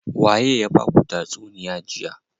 Waye ya baku tatsuniya jiya.